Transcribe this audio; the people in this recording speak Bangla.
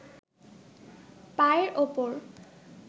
পায়ের ওপর